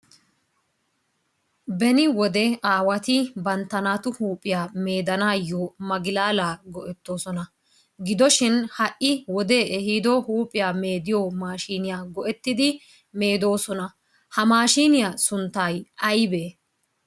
Beni wode aawati bantta naatu huuphiyaa meedanayo magilala go'ettosona gidoshin ha'i wodee ehido huuphiyaa meediyo maashiniyaa go'ettidi meedosona, ha maashshiyaa sunttay aybe?